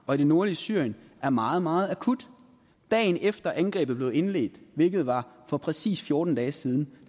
og i det nordlige syrien er meget meget akut dagen efter at angrebet blev indledt hvilket var for præcis fjorten dage siden